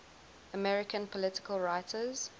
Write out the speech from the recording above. american political writers